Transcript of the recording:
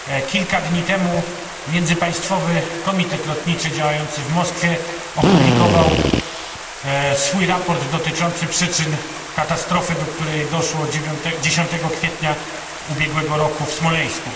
Kilka dni temu Międzypaństwowy Komitet Lotniczy działający w Moskwie opublikował swój raport dotyczący przyczyn katastrofy, do której doszło 10 kwietnia ubiegłego roku w Smoleńsku.